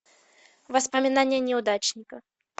воспоминания неудачника